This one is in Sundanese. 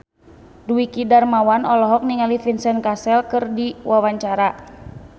Dwiki Darmawan olohok ningali Vincent Cassel keur diwawancara